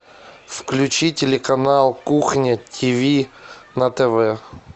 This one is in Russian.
включи телеканал кухня тиви на тв